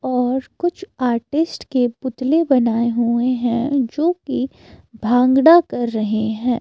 और कुछ आर्टिस्ट के पुतले बनाए हुए हैं जो कि भांगड़ा कर रहे हैं।